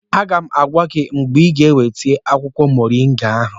Aga m agwa gị mgbe ịga eweta akwụkwọ moringa ahụ